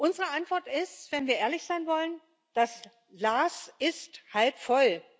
Unsere Antwort ist wenn wir ehrlich sein wollen Das Glas ist halb voll!